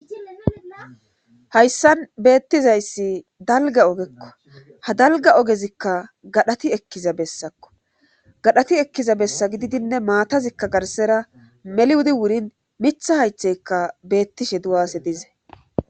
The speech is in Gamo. Hayssan beettizayssi dalga ogekko ha dalga ogezikka gadhati ekkiza bessakko gadhati ekkiza bessa gididinne maatazikka garsera meliwudi wurin mitha haytheykka beettishe du7ase dize.